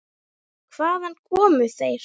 Hvaðan komu þeir?